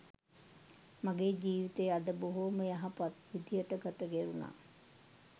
මගේ ජීවිතය අද බොහොම යහපත් විදිහට ගත කෙරුණා.